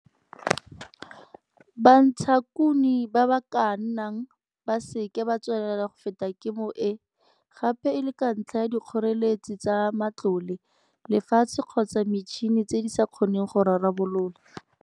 Bantshakuno ba ba ka nna ba se ke ba tswelela go feta kemo e, gape e le ka ntlha ya dikgoreletsi tsa matlole, lefatshe kgotsa metšhine tse di sa kgoneng go rarabololwa.